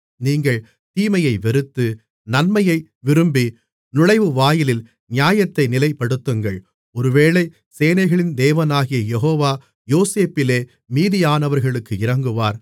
நீங்கள் தீமையை வெறுத்து நன்மையை விரும்பி நுழைவுவாயிலில் நியாயத்தை நிலைப்படுத்துங்கள் ஒருவேளை சேனைகளின் தேவனாகிய யெகோவா யோசேப்பிலே மீதியானவர்களுக்கு இரங்குவார்